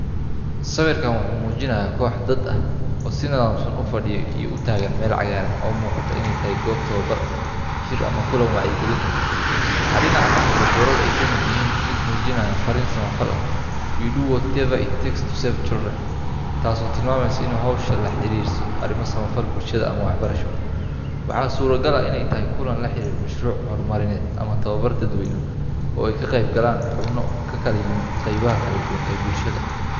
Sawirkan wuxuu muujinayaa koox dad ah oo si nidaamsan u fadhiya iyo u taagan meel cagaaran oo muuqata inay tahay goob tababar, shir ama kulan wacyigelin ah. Waxaa dhinaca ka muuqda boorar ay ka mid tahay mid muujinaya farriin samafal ah We do whatever it takes to save children, taasoo tilmaamaysa in hawsha la xiriirayso arrimo samafal, bulshada, ama waxbarasho. Waxaa suuragal ah in ay tahay kulan la xiriira mashruuc horumarineed ama tababar dadweyne oo ay ka qeybgalayaan xubno ka kala yimid qaybaha kala duwan ee bulshada.